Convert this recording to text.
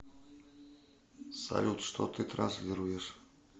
салют что ты транслируешь